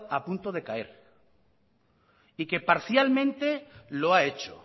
a punto de caer y que parcialmente lo ha hecho